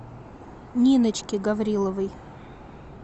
ниночке гавриловой